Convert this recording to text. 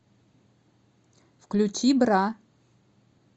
включи бра